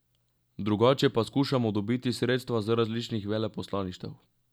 Drugače pa skušamo dobiti sredstva z različnih veleposlaništev.